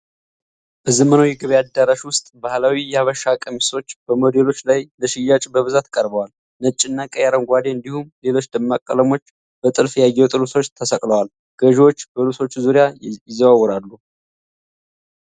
በዘመናዊ የገበያ አዳራሽ ውስጥ፣ ባህላዊ የሐበሻ ቀሚሶች በሞዴሎች ላይ ለሽያጭ በብዛት ቀርበዋል። ነጭና ቀይ፣ አረንጓዴ እንዲሁም ሌሎች ደማቅ ቀለሞች በጥልፍ ያጌጡ ልብሶች ተሰቅለዋል። ገዢዎች በልብሶቹ ዙሪያ ይዘዋወራሉ።